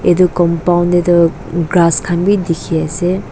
etu compound teh tu grass khan bhi dikhi ase.